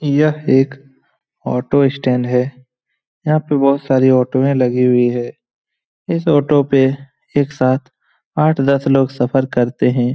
यह एक auto stand है यहां पर बहुत सारी ऑटोये लगी हुई हैं इस ऑटो पर एक साथ आठ दस लोग सफर करते हैं।